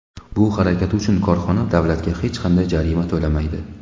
Bu harakati uchun korxona davlatga hech qanday jarima to‘lamaydi.